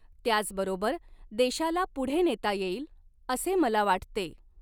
त्याचबरोबर देशाला पुढे नेता येईल , असे मला वाटते.